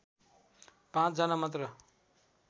५ जना मात्र